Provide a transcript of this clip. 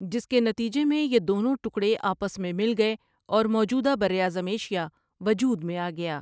جس کے نتیجے میں یہ دونوں ٹکڑے آپس میں مل گئے اور موجودہ بر اعظم ایشیا وجود میں آگیا ۔